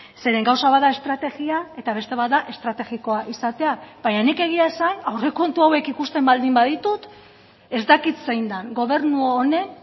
zeren gauza bat da estrategia eta beste bat da estrategikoa izatea baina nik egia esan aurrekontu hauek ikusten baldin baditut ez dakit zein den gobernu honen